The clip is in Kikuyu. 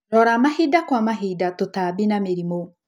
Rora mahinda kwa mahinda tũtamni na mĩrimũ.